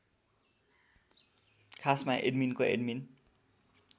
खासमा एडमिनको एडमिन